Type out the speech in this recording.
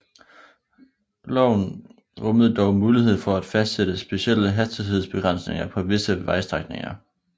Loven rummede dog mulighed for at fastsætte specielle hastighedsbegrænsninger på visse vejstrækninger